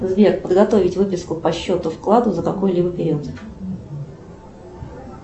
сбер подготовить выписку по счету вклада за какой либо период